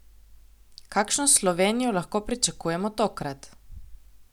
Kakšno Slovenijo lahko pričakujemo tokrat?